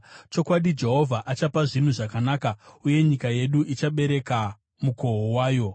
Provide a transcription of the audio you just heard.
Chokwadi, Jehovha achapa zvinhu zvakanaka, uye nyika yedu ichabereka mukoho wayo.